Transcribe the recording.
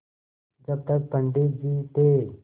जब तक पंडित जी थे